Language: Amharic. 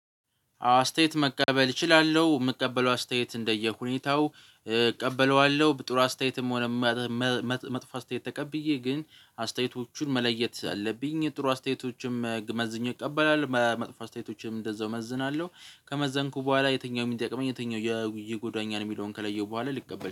አስተያየት መቀበል እችላለሁ የምቀበለው አስተያየት እንደየሁኔታው እቀበለዋለሁ ጥሩ አስተያየትም ሆነ። መጥፎ አስተያየት ተቀብዬ ግን አስተያየቶቹን መለየት አለብኝ። ጥሩ አስተያየቶችም መዝኘ እቀበላል መጥፎ አስተያየቶችም እንደዛው እመዝናለሁ። ከመዘንኩ በኋላ የትኛው የሚጠቅመኝ የትኛው የጎዳኛ ነው የሚለውን ከለየው በኋላ ልቀበል